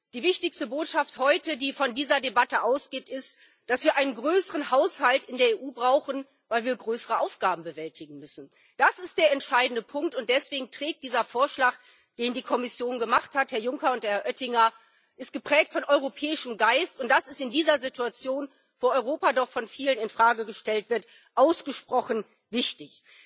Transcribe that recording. Die wichtigste Botschaft heute, die von dieser Debatte ausgeht, ist, dass wir einen größeren Haushalt in der EU brauchen, weil wir größere Aufgaben bewältigen müssen. Das ist der entscheidende Punkt, und deswegen ist dieser Vorschlag, den die Kommission gemacht hat Herr Juncker und Herr Oettinger geprägt vom europäischen Geist, und das ist in dieser Situation, wo Europa doch von vielen in Frage gestellt wird, ausgesprochen wichtig.